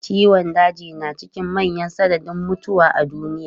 Ciwon daji na cikin manyan sanadin mutuwa a duniya.